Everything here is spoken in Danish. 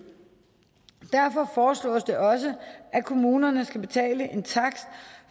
derfor foreslås det også at kommunerne skal betale en takst